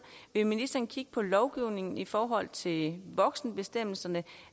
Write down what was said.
vil ministeren kigge på lovgivningen i forhold til voksenbestemmelserne